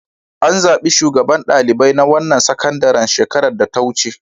An zaɓi sabon shugaban ɗalibai na wannan sakandaren shekarar da ta wuce.